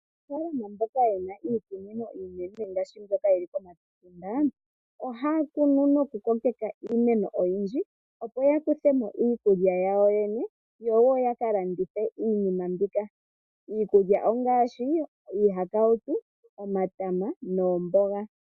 Aanafaalama mboka yena iikunino iinene ngaashi mboyoka yili komatunda, ohaya kunu noku kokeka iimeno oyindji, opo ya kuthemo iikulya yawo yene, yo woo yaka landithe iinima mbika. Iikulya ongaashi iihakautu, omatama noomboga.